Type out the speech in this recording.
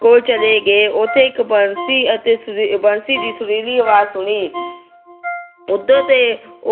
ਕੋਲ ਚਲੇ ਗਏ। ਉਥੇ ਇੱਕ ਬੰਸੀ ਅਹ ਬੰਸੀ ਦੀ ਸੁਰੀਲੀ ਆਵਾਜ ਸੁਣੀ। ਉਧਰ ਤੇ